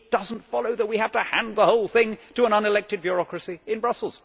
It does not follow that we have to hand the whole thing to an unelected bureaucracy in Brussels.